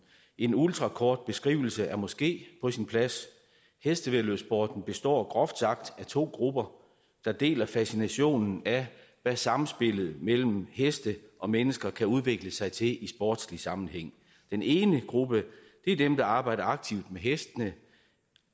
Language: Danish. en ultrakort beskrivelse er måske på sin plads hestevæddeløbssporten består groft sagt af to grupper der deler fascinationen af hvad samspillet mellem heste og mennesker kan udvikle sig til i sportslig sammenhæng den ene gruppe er dem der arbejder aktivt med hestene